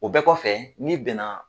O bɛɛ kɔfɛ n'i bɛn na.